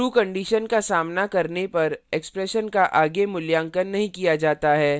true condition का सामना करने पर expression का आगे मूल्यांकन नहीं किया जाता है